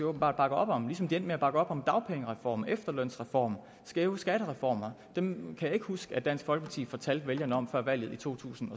åbenbart bakker op om ligesom de endte med at bakke op om dagpengereformen efterlønsreformen skæve skattereformer dem kan jeg ikke huske at dansk folkeparti fortalte vælgerne om før valget i totusinde